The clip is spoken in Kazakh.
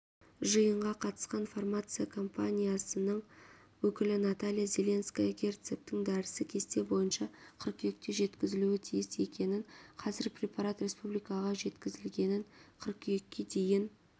жиынға қатысқан фармация компаниясының өкілі наталья зеленская герцептин дәрісі кесте бойынша қыркүйекте жеткізілуі тиіс екенін қазір препарат республикаға жеткізілгенін қыркүйекке дейін